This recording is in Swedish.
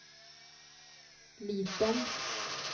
liten